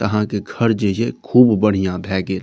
अहाँ के घर जेये खूब बढ़िया भए गेल।